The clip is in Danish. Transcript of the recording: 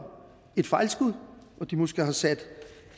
et fejlskud og de måske har sat